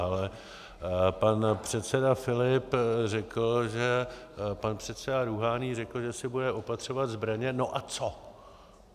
Ale pan předseda Filip řekl, že pan předseda Rúhání řekl, že si bude opatřovat zbraně - no a co?